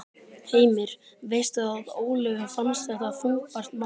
Heimir: Veistu að Ólöfu fannst þetta þungbært mál?